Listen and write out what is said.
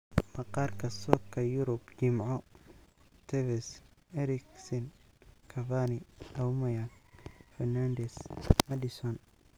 Maqaarka Sokka Yurub Jimco:Tevez, Eriksen, Cavani, Aubameyang, Fernandes, Maddison